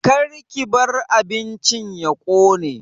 Karki bar abincin ya ƙone